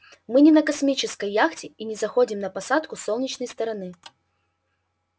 мы не на космической яхте и заходим на посадку с солнечной стороны